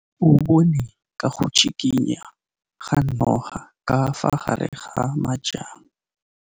O bone go tshikinya ga noga ka fa gare ga majang.